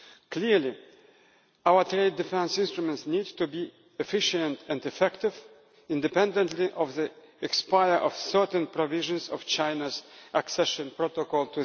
Clearly our trade defence instruments need to be efficient and effective, independently of the expiry of certain provisions of China's WTO Accession Protocol.